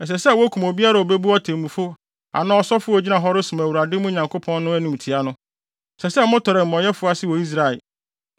Ɛsɛ sɛ wokum obiara a obebu otemmufo anaa ɔsɔfo a ogyina hɔ resom Awurade, mo Nyankopɔn no, animtiaa no. Ɛsɛ sɛ motɔre amumɔyɛsɛm ase wɔ Israel.